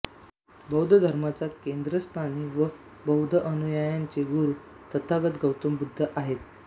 बौद्ध धर्माच्या केंद्रस्थानी व बौद्ध अनुयायांचे गुरू तथागत गौतम बुद्ध आहेत